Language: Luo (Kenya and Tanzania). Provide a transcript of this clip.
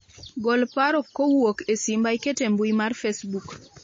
gol paro kowuok e simba iket e mbui mar facebook